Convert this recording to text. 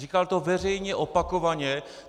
Říkal to veřejně opakovaně.